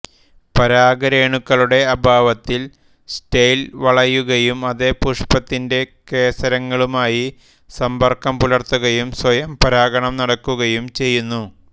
പരാഗരേണുക്കളുടെ അഭാവത്തിൽ സ്റ്റൈൽ വളയുകയും അതേ പുഷ്പത്തിന്റെ കേസരങ്ങളുമായി സമ്പർക്കം പുലർത്തുകയും സ്വയം പരാഗണം നടക്കുകയും ചെയ്യുന്നു